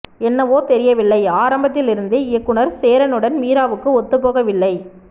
என்னவோ தெரியவில்லை ஆரம்பத்தில் இருந்தே இயக்குநர் சேரனுடன் மீராவுக்கு ஒத்துப்போகவில்லை